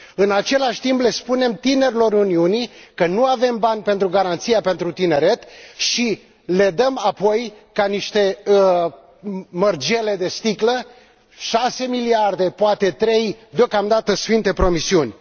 În același timp, le spunem tinerilor Uniunii că nu avem bani pentru garanția pentru tineret și le dăm apoi ca niște mărgele de sticlă, șase miliarde, poate trei, deocamdată sfinte promisiuni.